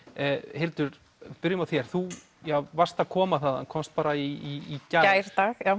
Hildur byrjum á þér þú varst að koma þaðan komst bara í gær